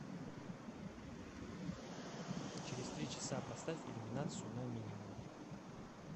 через три часа поставь иллюминацию на минимум